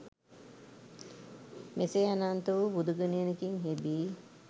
මෙසේ අනන්ත වූ බුදුගුණයකින් හෙබි